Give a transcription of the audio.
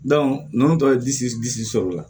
ninnu tɔ ye disi disi sɔrɔ la